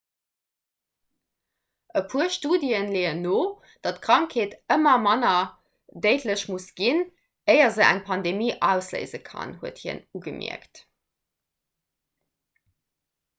e puer studië leeën no datt d'krankheet manner déidlech muss ginn éier se eng pandemie ausléise kann huet hien ugemierkt